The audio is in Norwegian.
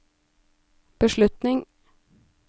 beslutning